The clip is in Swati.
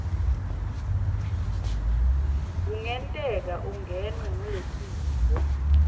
kungenteka ungenwe ngulesifo